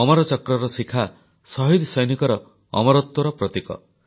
ଅମରଚକ୍ରର ଶିଖାଶହିଦ୍ ସୈନିକର ଅମରତ୍ୱର ପ୍ରତୀକ